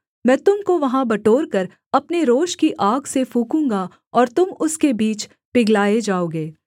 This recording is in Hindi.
मैं तुम को वहाँ बटोरकर अपने रोष की आग से फूँकूँगा और तुम उसके बीच पिघलाए जाओगे